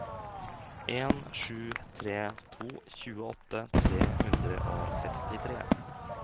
en sju tre to tjueåtte tre hundre og sekstitre